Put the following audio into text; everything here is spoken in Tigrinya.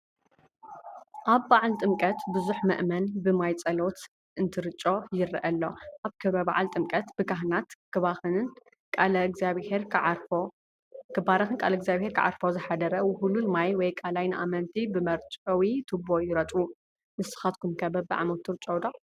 ኣብ ባዓል ጥምቀት ብዙሕ ምእመን ብማይ ፀሎት እንትርጮ ይረአ ኣሎ፡፡ ኣብ ክብረ በዓል ጥምቀት ብካህናት ክባረኽን ቃለ እግዚኣብሔር ክዓርፎ ዝሓደረ ውህሉል ማይ ወይ ቃላይ ንኣመንቲ ብመርጨዊ ቱቦ ይርጨው፡፡ ንስኻትኩም ከ በቢዓመቱ ትርጨው ዶ?